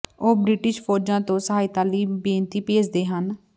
ਉਹ ਬ੍ਰਿਟਿਸ਼ ਫ਼ੌਜਾਂ ਤੋਂ ਸਹਾਇਤਾ ਲਈ ਬੇਨਤੀ ਭੇਜਦੇ ਹਨ